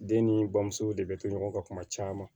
Den ni bamuso de bɛ to ɲɔgɔn ka kuma caman